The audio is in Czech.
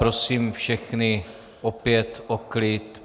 Prosím všechny opět o klid.